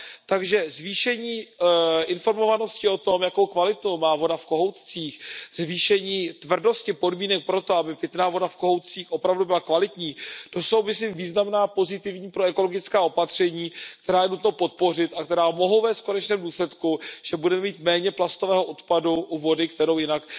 Takže zvýšení informovanosti o tom, jakou kvalitu má voda v kohoutcích, zvýšení tvrdosti podmínek pro to, aby pitná voda v kohoutcích opravdu byla kvalitní, to jsou myslím významná pozitivní proekologická opatření, která je nutno podpořit a která mohou vést v konečném důsledku k tomu, že budeme mít méně plastového odpadu u vody, kterou jinak